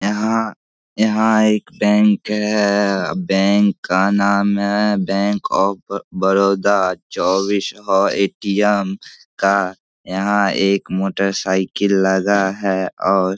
यहां यहां एक बैंक है बैंक का नाम है बैंक आफ बड़ बड़ौदा चौबीसो ए.टी.एम. का यहां एक मोटरसाइकिल लगा है और --